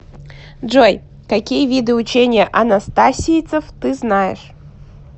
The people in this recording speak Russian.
джой какие виды учение анастасийцев ты знаешь